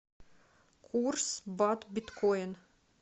курс бат биткоин